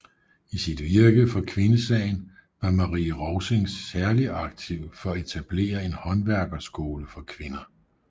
I sit virke for kvindesagen var Marie Rovsing særlig aktiv for at etablere en håndværkerskole for kvinder